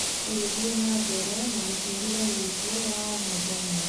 Tũgĩthiĩ na mbere na mũtũũrĩre witũ wa o mũthenya